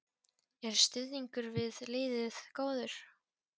Er stuðningur við liðið góður?